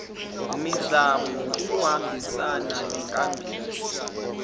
mizamo kuyohambisana nenkambiso